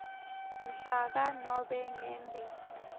mhlaka nobe ngembi